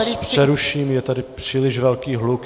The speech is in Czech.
Já vás přeruším, je tady příliš velký hluk.